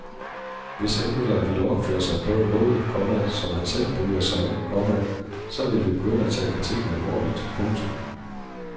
Hvis anmeldere ville opføre sig på en måde, komma som han selv bryder sig om, komma så vil vi begynde at tage kritikken alvorligt. punktum